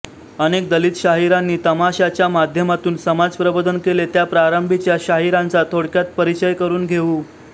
अनेक दलित शाहिरांनी तमाशाच्या माध्यमातून समाज प्रबोधन केले त्या प्रारंभीच्या शाहिरांचा थोडक्यात परिचय करून घेऊ